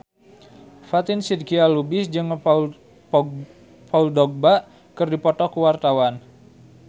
Fatin Shidqia Lubis jeung Paul Dogba keur dipoto ku wartawan